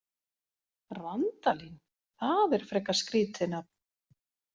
Randalín, það er frekar skrítið nafn.